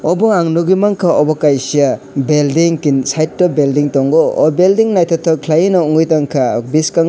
obo ang nugui manka obo kaisa building keto building tongo keto building tongo aw building nythoktok kwlai nw nugui Tonka bwskango.